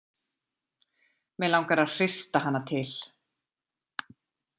Mig langar að hrista hana til.